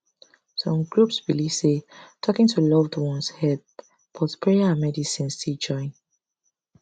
some groups believe say talking to loved ones help but prayer and medicine still join